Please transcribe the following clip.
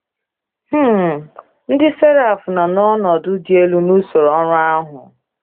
um Ndị Seraf nọ na ọnọdụ dị elu n’usoro ọrụ ahụ.